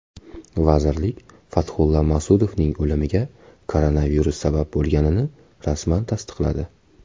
Vazirlik Fathulla Mas’udovning o‘limiga koronavirus sabab bo‘lganini rasman tasdiqladi.